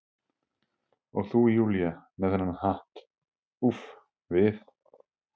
Og þú Júlía, með þennan hatt, úff, við